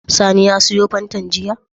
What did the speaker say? Sani ya siyo fantan jiya??